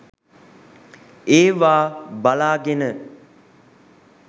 ඒවා බලාගෙන